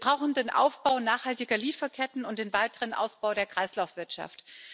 Wir brauchen den Aufbau nachhaltiger Lieferketten und den weiteren Ausbau der Kreislaufwirtschaft.